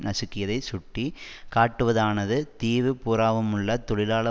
நசுக்கியதை சுட்டி காட்டுவதானது தீவு பூராவுமுள்ள தொழிலாள